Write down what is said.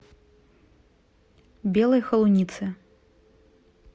белой холунице